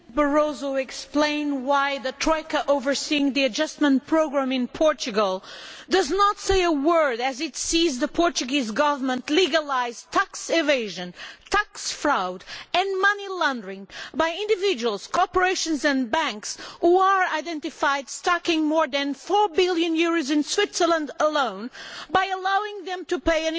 Madam President, could Mr Barroso explain why the Troika overseeing the adjustment programme in Portugal does not say a word as it sees the Portuguese Government legalise tax evasion, tax fraud and money laundering by individuals, corporations and banks, who are identified stacking more than EUR 4 billion in Switzerland alone, by allowing them to pay